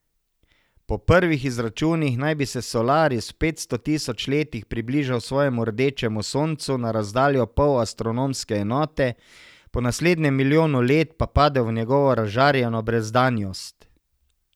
Po prvih izračunih naj bi se Solaris v petsto tisoč letih približal svojemu rdečemu soncu na razdaljo pol astronomske enote, po naslednjem milijonu let pa padel v njegovo razžarjeno brezdanjost.